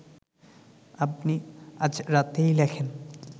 আপনি আজ রাতেই লেখেন